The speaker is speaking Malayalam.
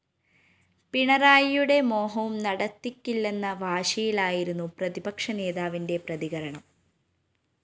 പിണറായിയുടെ മോഹവും നടത്തിക്കില്ലെന്ന വാശിയിലായിരുന്നു പ്രതിപക്ഷ നേതാവിന്റെ പ്രതികരണം